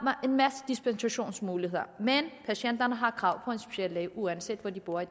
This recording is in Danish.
en masse dispensationsmuligheder men patienterne har krav på en speciallæge uanset hvor de bor i